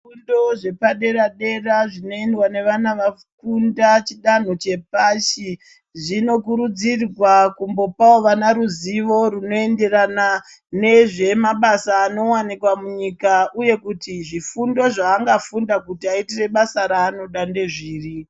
Zvifundo zvepadera-dera zvinoendwa nevana vafunda chidanho chepashi zvinokurudzirwa kumbopawo vana ruzivo rwunoenderana nezvemabasa anowanikwa munyika uye kuti zvifundo zvaangafunda kuti aitire basa raanoda ndezviri.